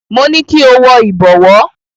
Mo ní kí o wọ ìbọ̀wọ́.